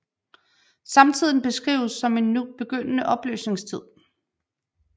Samtiden beskrives som en begyndende opløsningstid